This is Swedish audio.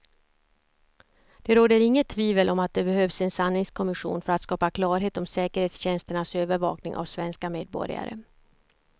Det råder inget tvivel om att det behövs en sanningskommission för att skapa klarhet om säkerhetstjänsternas övervakning av svenska medborgare.